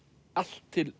allt til